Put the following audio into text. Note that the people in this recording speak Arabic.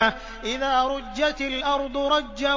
إِذَا رُجَّتِ الْأَرْضُ رَجًّا